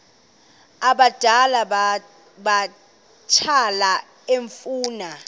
abadala abatsha efuna